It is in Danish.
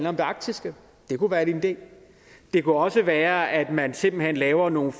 om det arktiske det kunne være en idé det kunne også være at man simpelt hen laver nogle